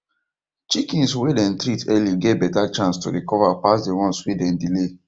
chickens way them treat early get better chance to recover pass the ones way dem delay